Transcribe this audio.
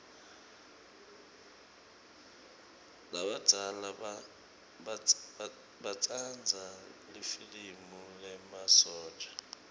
labadzala batsanza lifilimi lemasotja